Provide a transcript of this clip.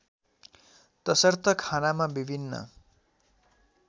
तसर्थ खानामा विभिन्न